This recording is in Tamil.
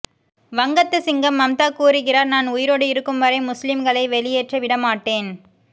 வங்கத்து சிங்கம் மம்தா கூறுகிறார் நான் உயிரோடு இருக்கும் வரை முஸ்லிம்களை வெளியேற்ற விடமாட்டேன்